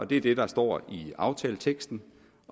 det er det der står i aftaleteksten